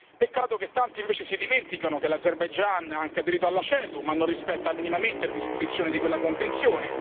Peccato che tanti, invece, si dimenticano che l'Azerbaigian ha anche aderito alla CEDU, ma non rispetta minimamente le disposizioni di quella convenzione.